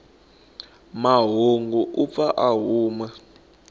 mahungu u pfa a huma